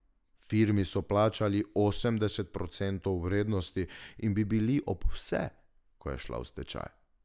Firmi so plačali osemdeset procentov vrednosti in bi bili ob vse, ko je šla v stečaj.